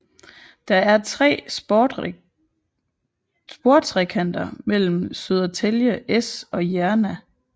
Der er tre sportrekanter mellem Södertälje S og Järna